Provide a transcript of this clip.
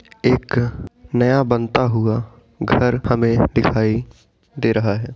एक नया बनता हुआ घर हमें दिखाई दे रहा है।